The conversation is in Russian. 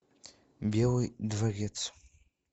белый дворец